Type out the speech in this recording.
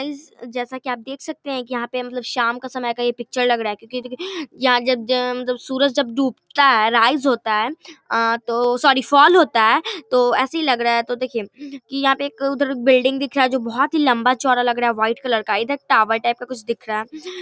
guys जैसा की आप देख सकते हैं की यहाँ पे शाम का समय का ये पिक्चर लग रहा है क्यूकी जब अ सूरज जब डूबता है राइज होता है अ तो सॉरी फॉल होता है तो ऐसा ही लग रहा है तो देखिये यहाँ पे उधर एक बिल्डिंग दिख रहा है जो बहुत ही लम्बा चोरा लग रहा है जो का व्हाइट कलर इधर टावर टाइप का कुछ दिख रहा है |